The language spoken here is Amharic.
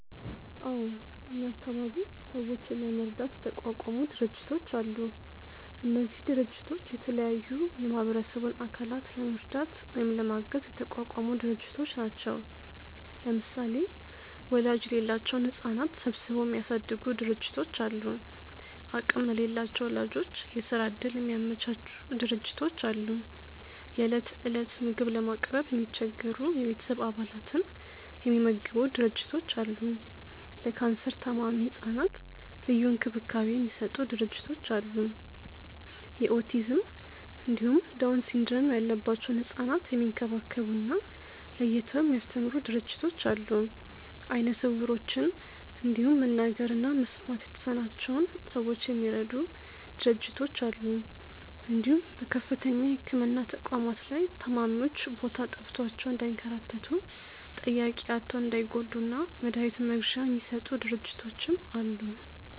አዎ እኛ አካባቢ ሰዎችን ለመርዳት የተቋቋሙ ድርጅቶች አሉ። እነዚህ ድርጅቶች የተለያዩ የማህበረሰቡን አካላት ለመርዳት ወይም ለማገዝ የተቋቋሙ ድርጅቶች ናቸው። ለምሳሌ ወላጅ የሌላቸውን ህጻናት ሰብስበው የሚያሳድጉ ድርጅቶች አሉ፣ አቅም ለሌላቸው ወላጆች የስራ እድል የሚያመቻቹ ድርጅቶች አሉ፣ የእለት እለት ምግብ ለማቅረብ የሚቸገሩ የቤተሰብ አባላትን የሚመግቡ ድርጅቶች አሉ፣ ለካንሰር ታማሚ ህጻናት ልዩ እንክብካቤ የሚሰጡ ድርጅቶች አሉ፣ የኦቲዝም እንዲሁም ዳውን ሲንድረም ያለባቸውን ህጻናት የሚንከባከቡ እና ለይተው የሚያስተምሩ ድርጅቶች አሉ፣ አይነ ስውሮችን እንዲሁም መናገር እና መስማት የተሳናቸውን ሰዎች የሚረዱ ድርጅቶች አሉ እንዲሁም በከፍተኛ የህክምና ተቋማት ላይ ታማሚዎች ቦታ ጠፍቷቸው እንዳይንከራተቱ፣ ጠያቂ አጥተው እንዳይጎዱ እና መድሀኒት መግዣ የሚሰጡ ድርጅቶችም አሉ።